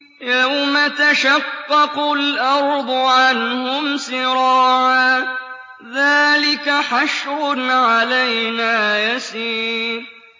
يَوْمَ تَشَقَّقُ الْأَرْضُ عَنْهُمْ سِرَاعًا ۚ ذَٰلِكَ حَشْرٌ عَلَيْنَا يَسِيرٌ